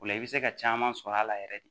O la i bɛ se ka caman sɔrɔ a la yɛrɛ de